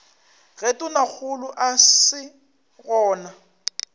ge tonakgolo a se gona